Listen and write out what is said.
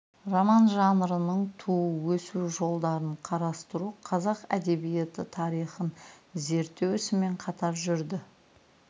роман жанрының туу өсу жолдарын қарастыру қазақ әдебиеті тарихын зерттеу ісімен қатар жүрді